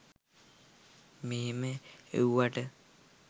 මෙහම එව්වට.